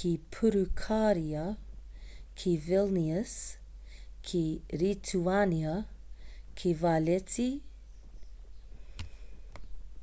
ki purukāria ki vilnius ki rituānia ki valetta ki malta ki tallinn ki etitōnia ki edinburgh me glasgow ki kōtirana